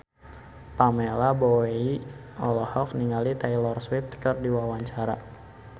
Pamela Bowie olohok ningali Taylor Swift keur diwawancara